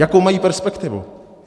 Jakou mají perspektivu?